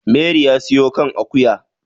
mari ya siyo kan akuya